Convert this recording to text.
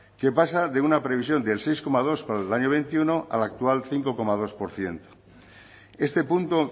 que pasa de una previsión del seis coma dos para el año veintiuno al actual cinco coma dos por ciento este punto